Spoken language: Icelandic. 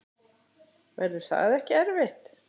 Verður það ekki erfitt?